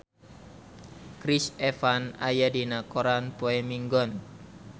Chris Evans aya dina koran poe Minggon